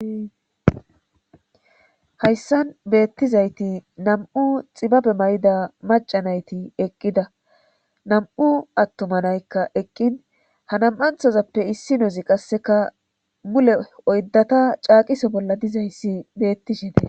ayssan beettizayti nam7u xibabe may'ida macanayti eqqida nam'u attomanaykka eqqin hanam'anthozappe issi nozi qasseka mule oydata caaqiso bolla dizayssi beettishite.